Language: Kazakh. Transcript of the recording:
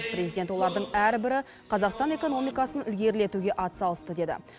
президент олардың әрбірі қазақстан экономикасын ілгерілетуге атсалысты деді